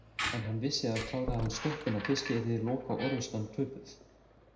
En hann vissi að kláraði hann stöppuna fyrst yrði lokaorrustan töpuð.